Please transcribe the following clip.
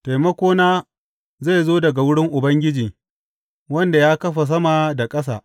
Taimakona zai zo daga wurin Ubangiji, wanda ya kafa sama da ƙasa.